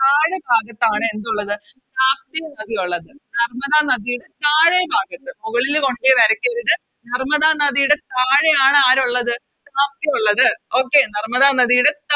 താഴെ ഭാഗത്താണ് എന്നുള്ളത് താപ്തി നദിയുള്ളത് നർമ്മദ നദിയുടെ താഴെ ഭാഗത്ത് മുകളില് കൊണ്ടോയി വരക്കരുത് നർമ്മദ നദിയുടെ താഴെയാണ് ആരുള്ളത് താപ്തി ഒള്ളത് Okay നർമ്മദ നദിയുടെ